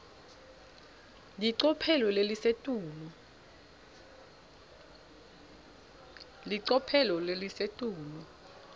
licophelo lelisetulu